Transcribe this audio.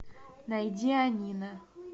найди анина